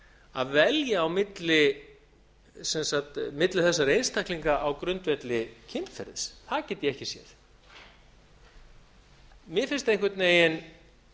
að velja á milli þessara einstaklinga á grundvelli kynferðis það get ég ekki séð mér finnst einhvern veginn